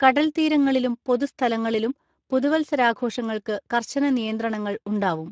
കടൽത്തീരങ്ങളിലും പൊതുസ്ഥലങ്ങളിലും പുതുവത്സരാഘോഷങ്ങൾക്ക് കർശന നിയന്ത്രണങ്ങൾ ഉണ്ടാവും.